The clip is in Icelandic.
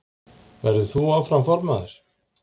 Verður þú áfram formaður?